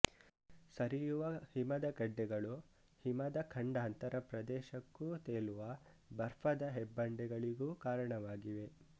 ಸರಿಯುವ ಹಿಮದ ಗಡ್ಡೆಗಳು ಹಿಮದ ಖಂಡಾಂತರ ಪ್ರದೇಶಕ್ಕೂ ತೇಲುವ ಬರ್ಫದ ಹೆಬ್ಬಂಡೆಗಳಿಗೂ ಕಾರಣವಾಗಿವೆ